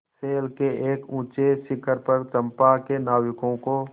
शैल के एक ऊँचे शिखर पर चंपा के नाविकों को